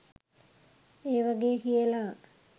ඒ වගේ කියලා.